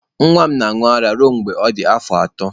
Nwa m na-aṅụ ara ruo mgbe ọ dị afọ ato.